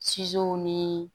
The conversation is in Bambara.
ni